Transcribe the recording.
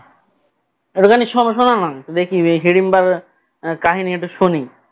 একটু খানি শো~শোনাও না দেখি হিড়িম্বার কাহিনী একটু শুনি